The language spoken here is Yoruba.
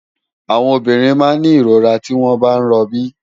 Áwòn òbìrín má n ni irórá tiwòn bá n ròbí